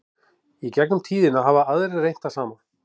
í gegnum tíðina hafa aðrir reynt það sama